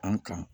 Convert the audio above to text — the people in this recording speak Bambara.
An kan